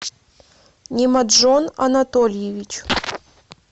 немаджон анатольевич